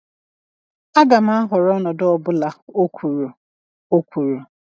Agam ahọrọ ọnọdụ ọ bụla," o kwuru. o kwuru.